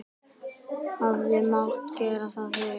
Hefði mátt gera það fyrr?